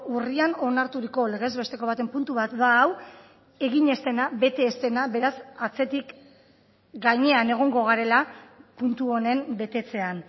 urrian onarturiko legez besteko baten puntu bat da hau egin ez dena bete ez dena beraz atzetik gainean egongo garela puntu honen betetzean